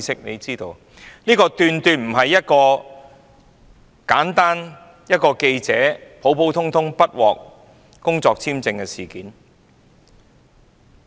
由此可見，這絕非單純是一名記者不獲批工作簽證的普通事件。